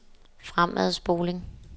fremadspoling